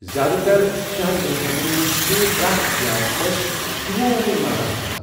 زیٛادٕ تر شہر ریسٹورینٹن منز چُھ پرٮ۪تھ ضِیافتس ہِیووے مزٕ باسان ۔